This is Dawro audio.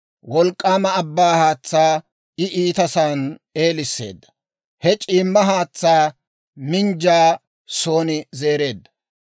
Wolk'k'aama abbaa haatsaa I ittisaan eelisseedda; he c'iimmo haatsaa minjjaa sa'aan zeereedda.